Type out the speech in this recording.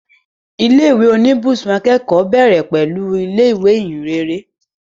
Ilé ìwé oníbùsùn akẹ́kọ̀ọ́ bẹ̀rẹ̀ pẹ̀lú ilé ìwé Ìhìnrere